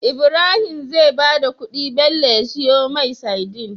Ibrahim zai bada kudi Bello ya siyo mai sadin